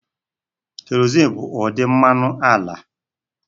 Kerozin bụ ụdị mmanụ ala.